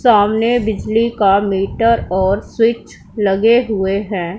सामने बिजली का मीटर और स्विच लगे हुएं हैं।